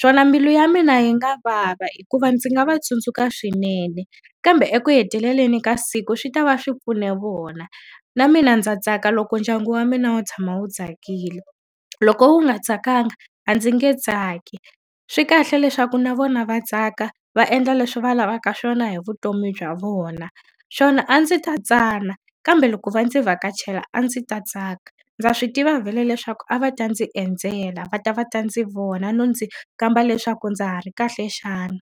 Swona mbilu ya mina yi nga vava hikuva ndzi nga va tsundzuka swinene, kambe eku heteleleni ka siku swi tava swi pfune vona. Na mina ndza tsaka loko ndyangu wa mina wu tshama wu tsakile, loko wu nga tsakanga a ndzi nge tsaki. Swi kahle leswaku na vona va tsaka, va endla leswi va lavaka swona hi vutomi bya vona. Swona a ndzi ta tsana kambe loko va ndzi vhakachela a ndzi ta tsaka. Ndza swi tiva vhele leswaku a va ta ndzi endzela, va ta va ta ndzi vona no ndzi kamba leswaku ndza ha ri kahle xana.